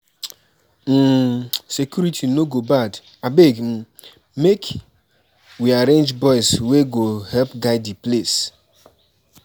um Security no go bad, abeg um make we arrange boys wey go help guide di place.